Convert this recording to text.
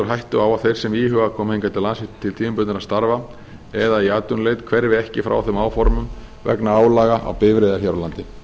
hættu á að þeir sem íhuga að koma hingað til lands til tímabundinna starfa eða í atvinnuleit hverfi ekki frá þeim áformum vegna álaga á bifreiðar hér á landi